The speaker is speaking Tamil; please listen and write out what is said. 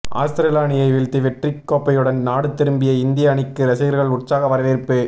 ஆஸ்திரேலிய அணியை வீழ்த்தி வெற்றிக் கோப்பையுடன் நாடு திரும்பிய இந்திய அணிக்கு ரசிகர்கள் உற்சாக வரவேற்பு